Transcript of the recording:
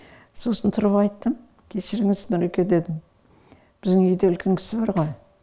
сосын тұрып айттым кешіріңіз нұреке дедім біздің үйде үлкен кісі бар ғой